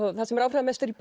það sem er áhrifamest í